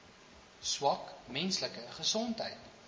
swak menslike gesondheid